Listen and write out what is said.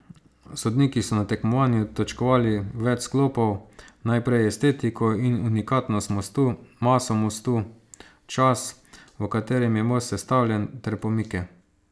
Sodniki so na tekmovanju točkovali več sklopov, najprej estetiko in unikatnost mostu, maso mostu, čas, v katerem je most sestavljen, ter pomike.